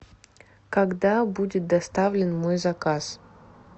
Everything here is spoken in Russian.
когда будет доставлен мой заказ